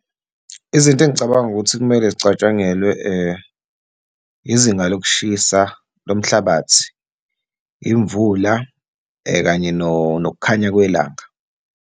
Izinto engicabanga ukuthi kumele zicatshangelwe izinga lokushisa lomhlabathi, imvula, kanye nokukhanya kwelanga.